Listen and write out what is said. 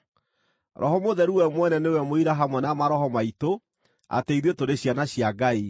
Roho Mũtheru we mwene nĩwe mũira hamwe na maroho maitũ atĩ ithuĩ tũrĩ ciana cia Ngai.